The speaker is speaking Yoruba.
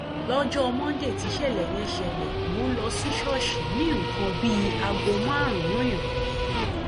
lọjọ monde tíṣẹlẹ yẹn ṣẹlẹ mò ń lọ sí ṣọọṣì ní nǹkan bíi aago márùnún ìrọlẹ